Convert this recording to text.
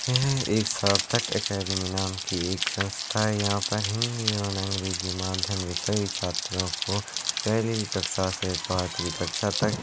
यह एक सार्थक अकादेमी नाम की एक संस्था है यहां पे हिन्दी और अंग्रेजी माध्यम विषय छात्रो को पहेली कक्षा से पाँचवी कक्षा तक--